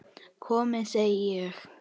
Komiði, segi ég!